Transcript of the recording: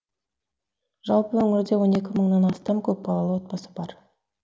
жалпы өңірде он екі мыңнан астам көпбалалы отбасы бар